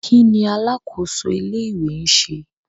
Kí ni alákòóso ilé-ìwé ń ṣe?